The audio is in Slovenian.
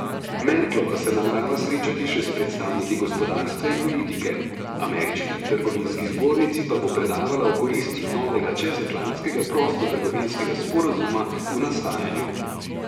Merklova se namerava srečati še s predstavniki gospodarstva in politike, Ameriški trgovinski zbornici pa bo predavala o koristih novega čezatlantskega prostotrgovinskega sporazuma v nastajanju.